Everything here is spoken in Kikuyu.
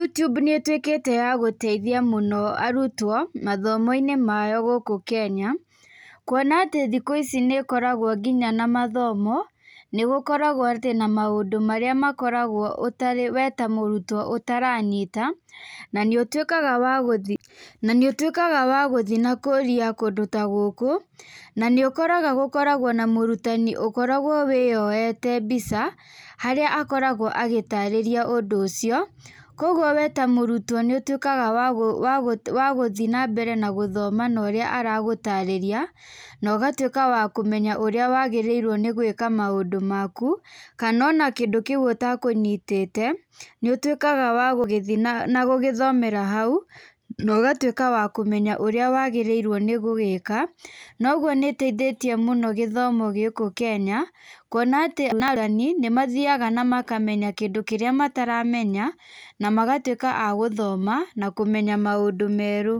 YouTube nĩ ĩtuĩkĩte ya gũteithia mũno arutwo, mathomo-inĩ mao gũkũ Kenya, kwona atĩ thikũ ici nĩ ĩkoragwo ngĩnya na mathomo. Nĩ gũkoragwo atĩ na maũndũ marĩa makoragwo wee ta mũrutwo ũtaranyita, na nĩũtuĩkaga wa gũthi, na nĩ ũtuĩkaga wa gũthiĩ na ũkoria kũndũ tagũkũ, na nĩ ũkoraga gũkoragwo na mũrutani ũkoragwo wĩyoete mbica, harĩa akoragwo agĩtarĩrĩa ũndũ ũcio. Koguo wee ta mũrutwo nĩ ũtuĩkaga wa gũthiĩ nambere na gũthoma na ũrĩa aragũtarĩria, na ũgatuĩka wa kũmenya ũrĩa wagĩrĩirwo nĩ gũĩka maũndũ maku, kana ona kĩndũ kĩũ ũtekũnyitĩte, nĩ ũtuĩkaga wa gũgĩthiĩ na gũgĩthomera hau, nogatuĩka wa kũmenya ũrĩa wagĩrĩirwo nĩ gũgĩka. Noguo nĩ ĩteithĩtie mũno gĩthomo gũkũ Kenya, kwona atĩ nĩ mathiaga na makamenya kĩndũ kĩrĩa mataramenya, na magatuĩka a gũgĩthoma, na kũmenya maũndũ merũ.